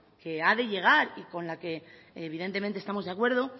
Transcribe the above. que ha de llegar y con la que evidentemente estamos de acuerdo